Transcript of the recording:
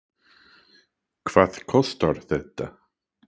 Hvað kostar þetta?